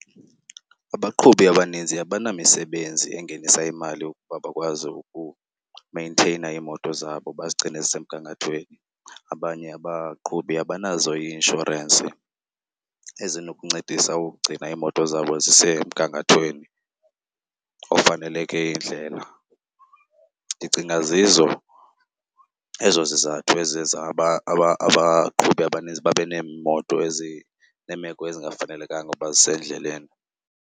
Abaqhubi abaninzi abanamisebenzi engenisa imali ukuba bakwazi ukumenteyina iimoto zabo bazigcine zisemgangathweni. Abanye abaqhubi abanazo ii-inshorensi ezinokuncedisa ukugcina iimoto zabo zisemgangathweni ofaneleke iindlela. Ndicinga zizo ezo zizathu eziye zaba abaqhubi abanintsi babe neemoto ezineemeko ezingafanelekanga ukuba zisendleleni.